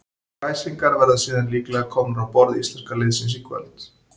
Kræsingarnar verða síðan líklega komnar á borð íslenska liðsins í kvöld.